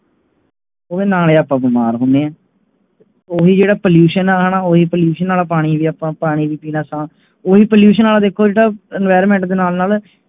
ਉਹ ਨਾਲੇ ਆਪ ਬਿਮਾਰ ਹੁੰਦੇ ਆ ਉਹੀ ਜਿਹੜਾ Pollution ਆ ਉਹੀ Pollution ਵਾਲਾ ਪਾਣੀ ਆਪਾ ਪੀਣ ਓਹੀ Pollution ਦੇ ਵੇਖੋ Enviroment ਦੇ ਨਾਲ ਨਾਲ